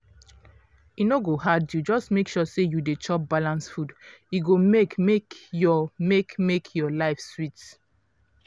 e no go hard you just make sure you dey chop balanced food e go make make your make make your life sweet.